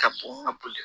Ka bɔn ka boli